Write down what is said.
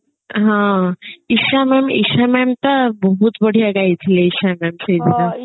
ହଁ Isha ma'am Isha ma'am ତ ବହୁତ ବଢିଆ ଗାଇଥିଲେ ଇଶା ma'am ସେଇ ଦିନ